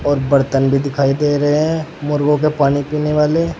और बर्तन भी दिखाई दे रहे हैं मुर्गों के पानी पीने वाले।